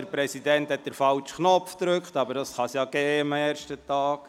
Der Präsident hat den falschen Knopf gedrückt, was am ersten Sessionstag vorkommen kann.